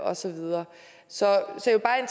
og så videre så